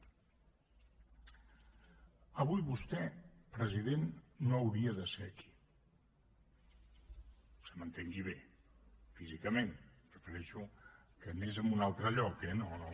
avui vostè president no hauria de ser aquí que se m’entengui bé físicament em refereixo que anés a un altre lloc eh no